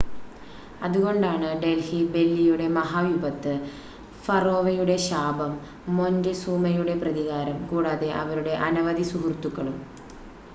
അതുകൊണ്ടാണ് ഡൽഹി ബെല്ലിയുടെ മഹാവിപത്ത് ഫറോവയുടെ ശാപം മൊൻറ്റെസൂമയുടെ പ്രതികാരം കൂടാതെ അവരുടെ അനവധി സുഹൃത്തുക്കളും